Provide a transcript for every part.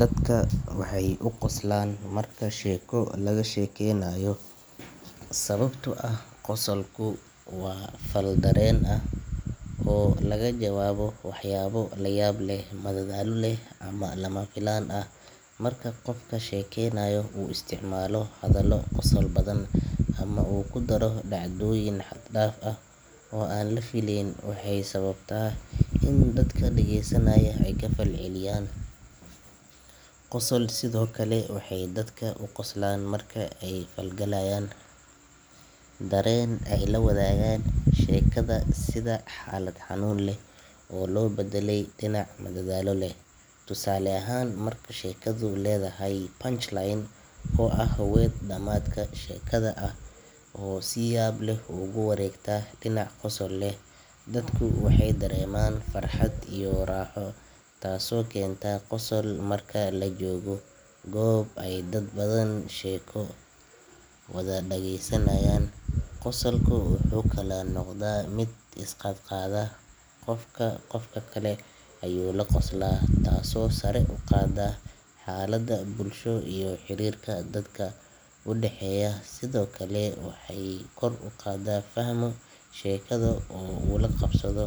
Dadka waxay u qoslaan marka sheeko laga sheekeynayo sababtoo ah qosolku waa fal dareen ah oo laga jawaabo waxyaabo la yaab leh madadaalo leh ama lama filaan ah marka qofka sheekeynaya uu isticmaalo hadallo qosol badan ama uu ku daro dhacdooyin xad-dhaaf ah oo aan la filayn waxay sababtaa in dadka dhageysanaya ay ka falceliyaan qosol sidoo kale dadka waxay u qoslaan marka ay la falgalaan dareen ay la wadaagaan sheekada sida xaalad xanuun leh oo loo beddelay dhinac madadaalo leh tusaale ahaan marka sheekadu leedahay punchline oo ah weedh dhamaadka sheekada ah oo si yaab leh ugu wareegta dhinac qosol leh dadku waxay dareemaan farxad iyo raaxo taasoo keenta qosol marka la joogo goob ay dad badan sheeko wada dhageysanayaan qosolka wuxuu kaloo noqdaa mid isqaad qaada qofba qofka kale ayuu la qoslaa taasoo sare u qaadda xaalada bulsho iyo xiriirka dadka u dhaxeeya sidoo kale marka qofku fahmo sheekada oo uu la qabsado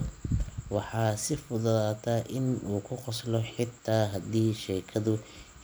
waxaa sii fududaata in uu ka qoslo xitaa haddii sheekadu.